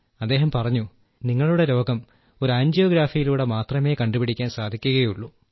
അദ്ദേഹം പറഞ്ഞു നിങ്ങളുടെ രോഗം ഒരു ആൻജിയോഗ്രാഫിയിലൂടെ മാത്രമേ കണ്ടുപിടിക്കാൻ സാധിക്കുകയുള്ളൂ